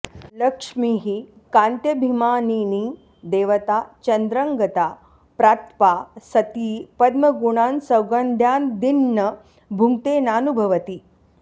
लक्ष्मीः कान्त्यभिमानिनी देवता चन्द्रं गता प्रात्पा सती पद्मगुणान्सौगन्ध्यादीन्न भुङ्क्ते नानुभवति